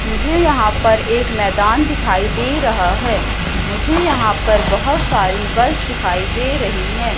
मुझे यहां पर एक मैदान दिखाई दे रहा है मुझे यहां पर बहुत सारी बस दिखाई दे रही है।